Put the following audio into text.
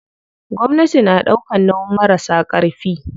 Gwamnati na ɗaukan nauyin marasa ƙarfi.